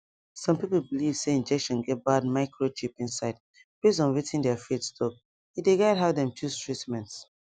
some people believe say injection get bad microchip inside based on wetin their faith talk e dey guide how dem choose treatment